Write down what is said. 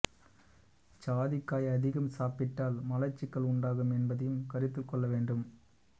ஜாதிக்காய் அதிகம் சாப்பிட்டால் மலச்சிக்கல் உண்டாகும் என்பதையும் கருத்தில்கொள்ள வேண்டும்